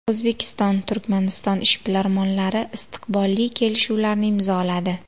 O‘zbekiston – Turkmaniston ishbilarmonlari istiqbolli kelishuvlarni imzoladi.